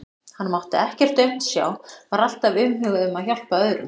Hann mátti ekkert aumt sjá, var alltaf umhugað um að hjálpa öðrum.